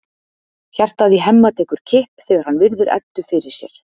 Hjartað í Hemma tekur kipp þegar hann virðir Eddu fyrir sér.